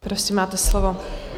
Prosím, máte slovo.